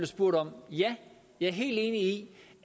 spurgt om ja jeg er helt enig i